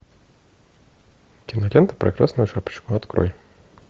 кинолента про красную шапочку открой